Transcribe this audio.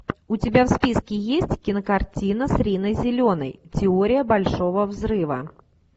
у тебя в списке есть кинокартина с риной зеленой теория большого взрыва